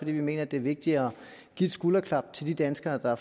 vi mener det er vigtigere at give et skulderklap til de danskere der